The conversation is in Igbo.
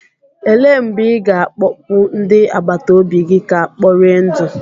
Elee mgbe ị ga-akpọpu ndị agbata obi gị ga kpọri ndụ?